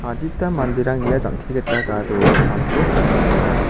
adita manderang ia jang·ke gita gadoe kamko ka·tokenga.